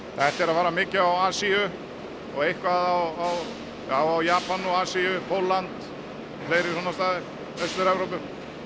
þetta er að fara mikið á Asíu og eitthvað á já á Japan og Asíu Pólland fleiri svona staði Austur Evrópu